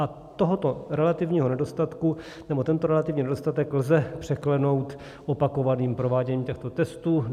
A tohoto relativního nedostatku, nebo tento relativní nedostatek lze překlenout opakovaným prováděním těchto testů.